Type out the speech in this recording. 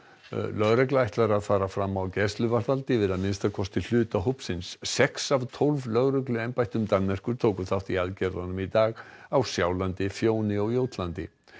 lögregla ætlar að fara fram á gæsluvarðhald yfir að minnsta kosti hluta hópsins sex af tólf lögregluembættum Danmerkur tóku þátt í aðgerðunum í dag á Sjálandi Fjóni og Jótlandi